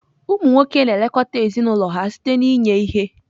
Ụmụ nwoke na-elekọta ezinụlọ ha site n'inye ihe.